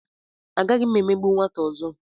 Agaghị m emegbu nwata ọzọ.